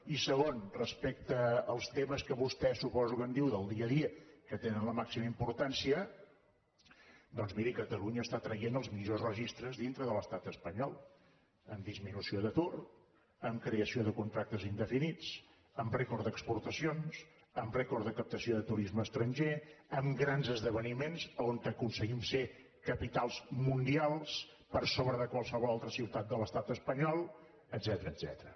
i segon respecte als temes que vostè ho suposo en diu del dia a dia que tenen la màxima importància doncs miri catalunya està traient els millors registres dintre de l’estat espanyol en disminució d’atur en creació de contractes indefinits en rècord d’exportacions en rècord de captació de turisme estranger amb grans esdeveniments on aconseguim ser capitals mundials per sobre de qualsevol altre ciutat de l’estat espanyol etcètera